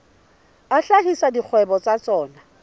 a hlahisa dikgwebo tsa tsona